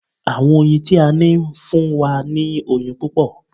Àwọn oyin tí a ní ń fún wa ní oyin púpọ̀